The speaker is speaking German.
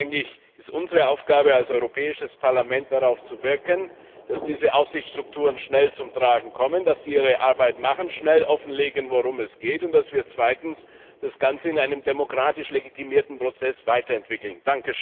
Deswegen ist es unsere Aufgabe, als Europäisches Parlament, darauf hinzuwirken, dass diese Aufsichtsstrukturen schnell zum Tragen kommen, dass sie ihre Arbeit machen, schnell offenlegen, worum es geht, und dass wir zweitens das Ganze in einem demokratisch legitimierten Prozess weiterentwickeln.